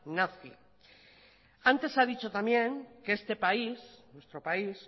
nazi antes se ha dicho también que este país nuestro país